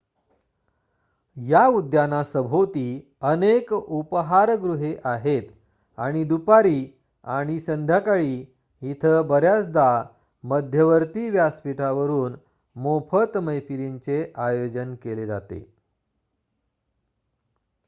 या उद्यानासभोवती अनेक उपाहार गुहे आहेत आणि दुपारी आणि संध्याकाळी इथे बर्‍याचदा मध्यवर्ती व्यासपीठावरून मोफत मैफिलींचे आयोजन केले जाते